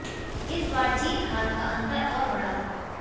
इस बार जीत हार का अंतर और बड़ा था